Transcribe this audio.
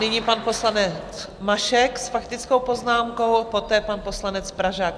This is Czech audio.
Nyní pan poslanec Mašek s faktickou poznámkou, poté pan poslanec Pražák.